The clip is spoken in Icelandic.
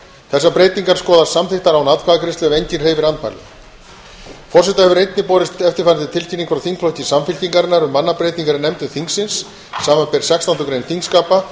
þessar breytingar skoðast samþykktar án atkvæðagreiðslu ef enginn hreyfir andmælum forseta hefur einnig borist tilkynning frá þingflokki samfylkingarinnar um mannabreytingar í nefndum þingsins samanber sextándu grein þingskapa